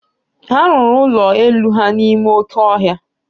Ha rụrụ ụlọ elu ha n'ime oké ọhịa.